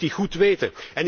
Dat moet hij goed weten!